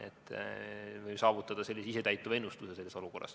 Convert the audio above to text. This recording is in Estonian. Selles olukorras võime saavutada isetäituva ennustuse.